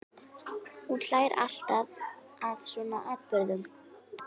Hún hlær alltaf að svona atburðum.